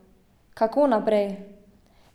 Kako naprej?